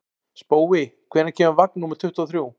Spói, hvenær kemur vagn númer tuttugu og þrjú?